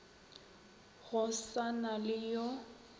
go sa na le yo